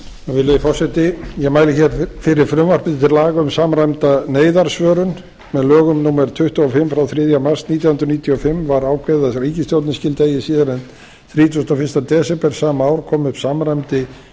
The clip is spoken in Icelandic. virðulegi forseti ég mæli hér fyrir frumvarpi til laga um samræmda neyðarsvörun með lögum númer tuttugu og fimm frá þriðja mars nítján hundruð níutíu og fimm var ákveðið að ríkisstjórnin skyldi eigi síðar en þrítugasta og fyrsta desember sama ár koma upp samræmdri